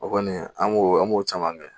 O kɔni an b'o an b'o caman kɛ